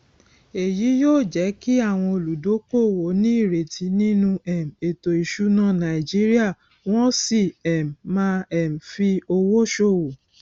èyí yóò jẹ kí àwọn olúdókòwò ní ìrètí nínú um ètò ìsúná nàìjíríà wọn sì um má um fi owó ṣòwò